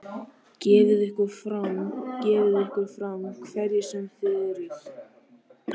Gefið ykkur fram, gefið ykkur fram, hverjir sem þið eruð.